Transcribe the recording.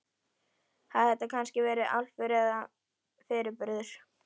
Hafði þetta kannski verið álfur, eða fyrirburður?